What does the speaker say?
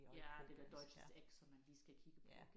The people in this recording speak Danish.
Ja det der Deutsches Eck som man lige skal kigge på